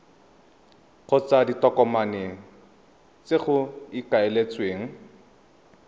kgotsa ditokomane tse go ikaeletsweng